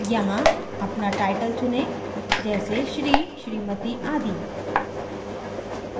यहाँ अपना टाइटल चुनें जैसे shri smt आदि